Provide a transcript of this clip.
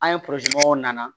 An ye nana